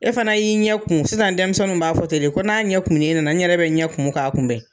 E fana y'i ɲɛ kumun, sisan denmisɛnninw b'a fɔ ten de, ko n'a ɲɛ kumun ne nana, n yɛrɛ bɛ ɲɛ kumun k'a kunbɛn.